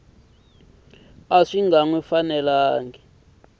a swi nga n wi